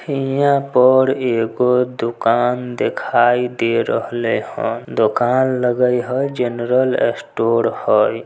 हियां पर एगो दुकान देखाई दे रहले हन दुकान लगई ह जनरल स्टोर हई।